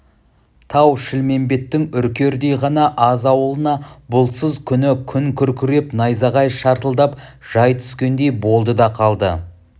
тау-шілмембеттің үркердей ғана аз ауылына бұлтсыз күні күн күркіреп найзағай шартылдап жай түскендей болды да қалды